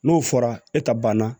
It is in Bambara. N'o fɔra e ta banna